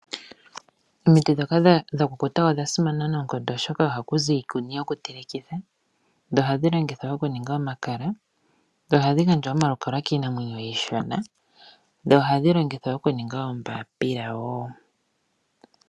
Omiti ndhoka dha kukuta odha simana noonkondo oshoka ohaku zi iikuni yoku telekitha, dho ohadhi longithwa okuninga omakala, dho ohadhi gandja omalukalwa kiinamwenyo iishona, dho ohadhi gandja oombaapila wo.